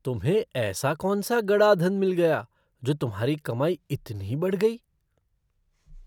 तुम्हें ऐसा कौनसा गड़ा धन मिल गया जो तुम्हारी कमाई इतनी बढ़ गई?